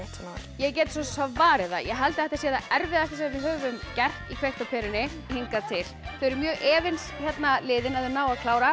ég get svarið það ég held þetta sé að erfiðasta sem við höfum gert í kveikt á perunni hingað til þau eru mjög efins hérna liðin að þau nái að klára